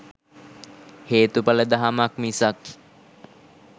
හේතුඵල දහමක් මිසක්